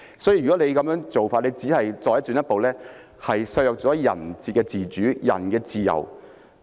所以，如果這樣做，只是進一步削弱人的自主、人的自由。